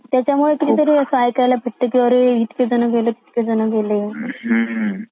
त्याचमुळे किती तरी ऐकायला मिळत अरे इतके जण गेले तितके जण गेले